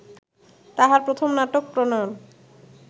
তাঁহার প্রথম নাটক প্রণয়ন